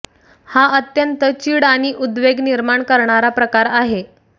हा अत्यंत चीड आणि उद्वेग निर्माण करणारा प्रकार आहे